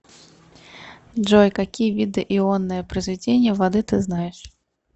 джой какие виды ионное произведение воды ты знаешь